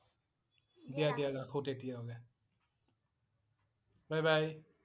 দিয়া দিয়া ৰাখো তেতিয়া হলে bye bye